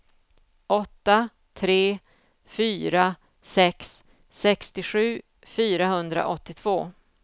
åtta tre fyra sex sextiosju fyrahundraåttiotvå